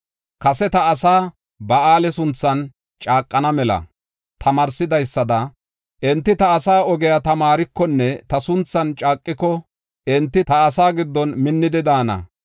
Kase ta asaa Ba7aale sunthan caaqana mela tamaarsidaysada enti ta asaa ogiya tamaarikonne ta sunthan caaqiko enti ta asaa giddon minnidi daana.